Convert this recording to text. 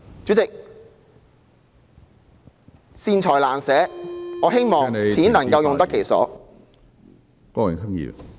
主席，善財難捨......我希望錢能夠用得其所。